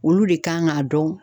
Olu de kan k'a dɔn.